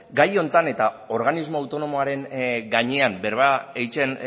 gai honetan eta organismo autonomoaren gainean berba egiten